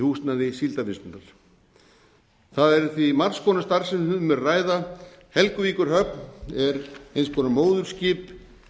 húsnæði síldarvinnslunnar það er því margs konar starfsemi sem um er að ræða helguvíkurhöfn er eins konar móðurskip